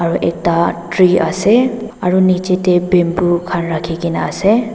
aro ekta tree ase aro nichae tae bamboo khan rakhikaena ase.